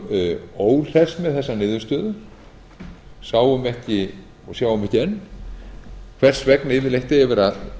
vorum óhress með þessa niðurstöðu sáum ekki og sjáum ekki enn hvers vegna yfirleitt eigi að